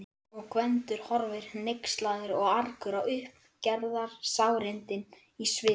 Og Gvendur horfir hneykslaður og argur á uppgerðarsárindin í svip